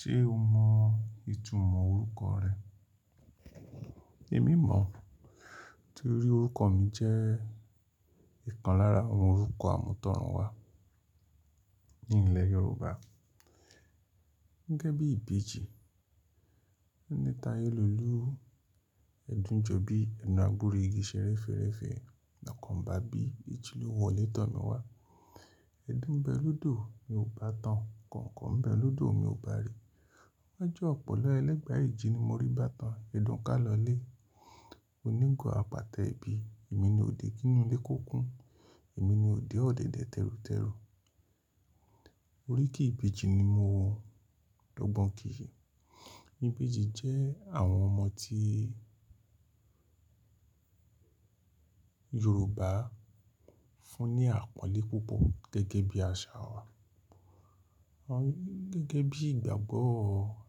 Ṣé o mọ ìtumọ̀ orúkọ rẹ? Èmi mọ̀, torí orúkọ mi jẹ́ ìkan lára àwọn orúkọ àmútọ̀runwa ní ilẹ̀ Yorùbá. Gẹ́gẹ́ bí Ìbejì, ní Tayelulu, ẹ̀dùn jọ bí ẹnu abúré igi ṣẹẹ́rẹ́fẹẹrẹfẹ́ lọkàn ba bí ìjì lu wọlé tọ́ mi wá. Ẹ̀dùn bẹ lodò mi ò bá tán, kọ̀ǹkọ̀ bẹ lodò mi ò bá re. Wájú ọ̀pọ̀lọ ẹlẹ́gba ẹ́je ni mo rí bá tán, ẹdùn ká lọlé. Onígò àpá tẹ ìbí, èmi ni òde kínú ilé kó kún, èmi ni òde ọ̀dẹ̀dẹ̀ tẹrutẹru. Oríkì Ìbejì ni mo ọ dọ́gbọ́n kìí e. Ìbejì jẹ́ àwọn ọmọ tí Yorùbá fún ní àpọ́nlé púpọ̀ gẹ́gẹ́ bí àṣà wa. Wọ́n gẹ́gẹ́ bí ìgbàgbọ́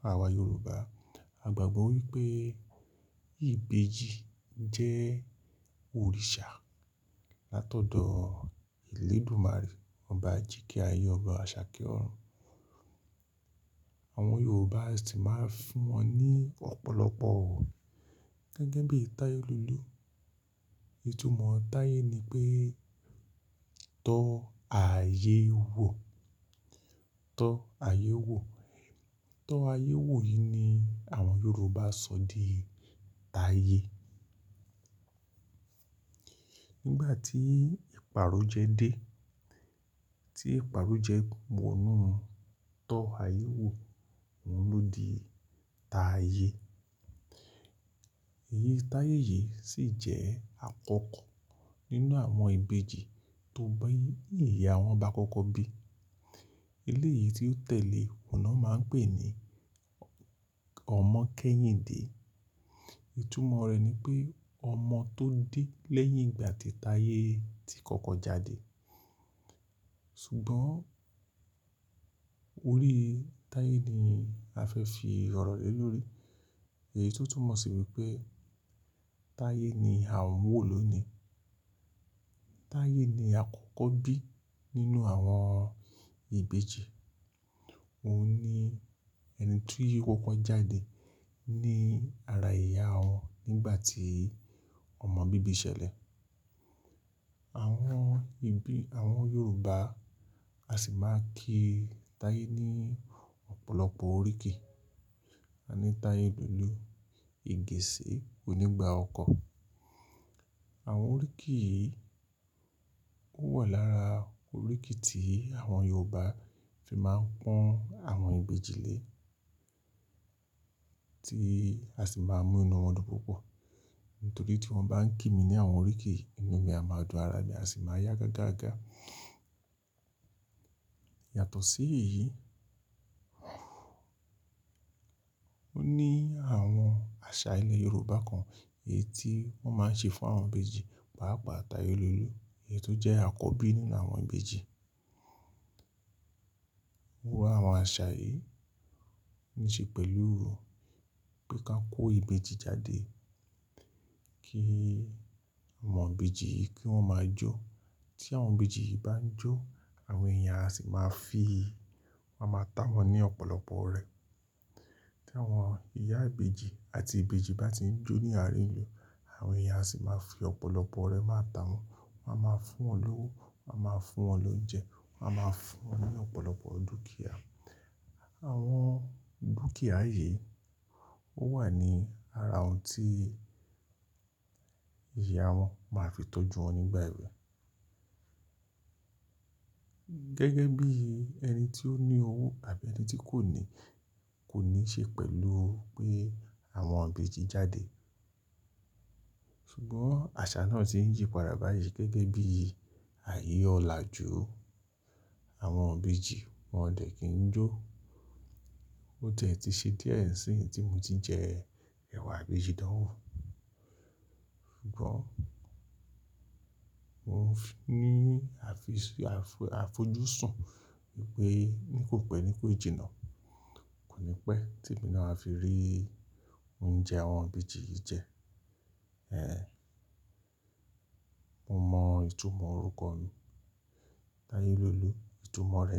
àwa Yorùbá, a gbàgbọ́ wípé Ìbejì jẹ́ òrìṣà látọ̀dọ̀ Elédùmarè, ọba ajíkẹ́ ayé, ọba Àṣàkẹ́ ọ̀run. Àwọn Yorùbá sì máa ń fún wọn ní ọ̀pọ̀lọpọ̀. Gẹ́gẹ́ bí Tayelulu, ìtumọ̀ Tayé ni pé "tọ ààyè wò", "tọ ààyè wò". "Tọ ààyè wò" yìí ni àwọn Yorùbá sọ di Tayé. Nígbà tí ìparó jẹ dé, tí ìparó jẹ wọ́nú "tọ ààyè wò", òun ló di Tayé. Eyi Tayé yìí sì jẹ́ àkọ́kọ́ nínú àwọn Ìbejì tó bá ìyá wọn bá àkọ́kọ́ bí. Elé yìí tí ó tẹ̀lé, òun a máa ń pè ní Ọmọkẹ́yìnde. Ìtumọ̀ rẹ̀ ni pé ọmọ tó dé lẹ́yìn ìgbà tí Tayé ti kọ́kọ́ jáde. Ṣùgbọ́n orí Tayé ni a fẹ́ fi ìrọ̀lẹ́ lórí. Èyí tó túmọ̀ sí wípé Tayé ni à ń wò lónìí. Tayé ni àkọ́kọ́ bí nínú àwọn Ìbejì. Òun ni ẹni tí wọ́n kọ́kọ́ jáde ní ara ìyá wọn nígbà tí ọmọ bíbi ṣẹlẹ̀. Àwọn Yorùbá, a sì máa ń kí Tayé ní ọ̀pọ̀lọpọ̀ oríkì. A ní Tayelulu, Igiìṣẹ́, Onígba ọkọ̀. Àwọn oríkì yìí ó wà lára oríkì tí àwọn Yorùbá fi máa ń pọ́n àwọn Ìbejì lé, tí a sì máa ń mú inú wọn dùn púpọ̀. Nítorí tí wọ́n bá ń kí mi ní àwọn oríkì yìí, inú mi á máa dùn, ara mi á sì máa yá gágá gá. Yàtọ̀ sí èyí, ó ní àwọn àṣà ilẹ̀ Yorùbá kan èyí tí wọ́n máa ń ṣe fún àwọn ìbejì, pàápàá Tayelolu èyí tó jẹ́ àkọ́bí nínú àwọn ìbejì. Wùwà àwọn àṣà yìí ní ṣe pẹ̀lú pé kí a kó ìbejì jáde, kí àwọn ìbejì yìí kí wọ́n máa jó. Tí àwọn ìbejì yìí bá ń jó, àwọn èèyàn á sì máa fi, wọ́n á máa tà wọ́n ní ọ̀pọ̀lọpọ̀ ọrẹ. Tí àwọn ìyá ìbejì àti ìbejì bá ti ń jó ní àárín ìlú, àwọn èèyàn sì máa fi ọ̀pọ̀lọpọ̀ ọrẹ máa tà wọ́n. Wọn á máa fún wọn lówo, wọ́n á máa fún wọn lóúnjẹ, wọ́n á máa fún wọn ní ọ̀pọ̀lọpọ̀ dúkìá. Àwọn dúkìá yìí ó wà ní ara ohun tí ìyá wọn máa fi tọ́jú wọn nígbà ẹ̀we. Gẹ́gẹ́ bí ẹni tí ó ní owó tàbí ẹni tí kò ní kò ní ṣe pẹ̀lú pé àwọn ìbejì jáde. Ṣùgbọ́n àṣà náà ti ń yí padà báyìí gẹ́gẹ́ bí ààye ọláju. Àwọn ìbejì wọ́n ò dẹ́ kí ń jó. Ó tẹ́ ti ṣe díẹ̀ sí ì tí mo ti jẹ ẹ̀wà ìbejì dánwò. Ṣùgbọ́n mo ní a fi, a fojúsùn wípé ní kò pẹ́ ní kò jìnnà. Kò ní pẹ́ tí èmi náà á fi rí oúnjẹ àwọn ìbejì yìí jẹ. Ẹn, mo mọ ìtumọ̀ orúkọ mi, Tayelolu, ìtumọ̀ rẹ̀ ni.